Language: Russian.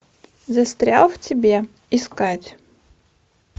застрял в тебе искать